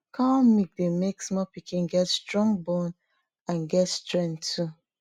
cow milk dey make small pikin get strong bone and get strenght too